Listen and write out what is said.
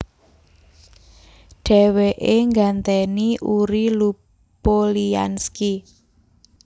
Dhèwèké nggantèni Uri Lupolianski